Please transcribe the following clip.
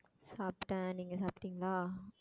சாப்பிட்டேன் நீங்க சாப்பிட்டீங்களா